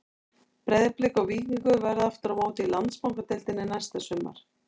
Breiðablik og Víkingur verða aftur á móti í Landsbankadeildinni næsta sumar.